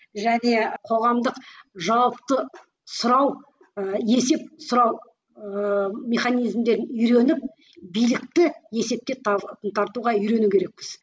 және қоғамдық жауапты сұрау ы есеп сұрау ы механизмдер үйреніп билікті есепке тартуға үйрену керекпіз